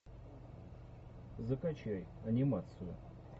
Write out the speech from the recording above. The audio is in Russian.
закачай анимацию